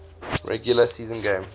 regular season game